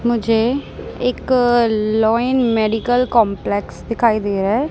मुझे एक law and medical complex दिखाई दे रहा है।